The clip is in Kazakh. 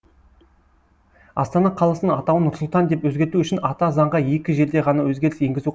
астана қаласының атауын нұрсұлтан деп өзгерту үшін ата заңға екі жерде ғана өзгеріс енгізу